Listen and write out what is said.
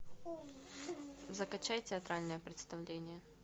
закачай театральное представление